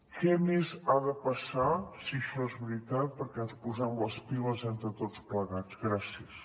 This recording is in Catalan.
què més ha de passar si això és veritat perquè ens posem les piles entre tots plegats gràcies